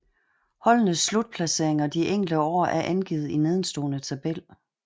Holdenes slutplaceringer de enkelte år er angivet i nedenstående tabel